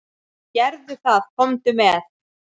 Gerðu það, komdu með.